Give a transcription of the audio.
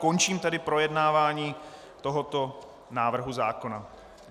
Končím tedy projednávání tohoto návrhu zákona.